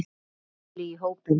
Lúlli í hópinn.